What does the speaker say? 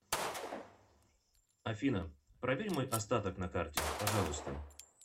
афина проверь мой остаток на карте пожалуйста